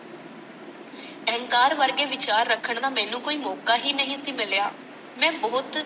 ਅਹੰਕਾਰ ਵਰਗੇ ਵਿਚਾਰ ਰੱਖਣ ਦਾ ਮੈਨੂੰ ਕੋਈ ਮੌਕਾ ਹੀ ਨਹੀਂ ਸੀ ਮਿਲਿਆ। ਮੈਂ ਬਹੁਤ।